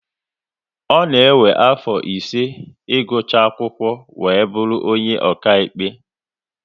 Ọ na ewe afọ ise igucha akwụkwọ wee bụrụ onye ọkaiwu